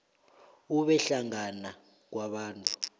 ube hlangana kwabantu